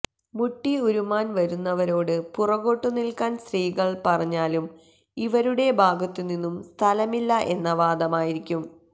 മുട്ടി ഉരുമ്മാൻ വരുന്നവരോട് പുറകോട്ടു നില്ക്കാൻ സ്ത്രീകൾ പറഞ്ഞാലും ഇവരുടെ ഭാഗത്തുനിന്നും സ്ഥലമില്ല എന്ന വാദമായിരിക്കും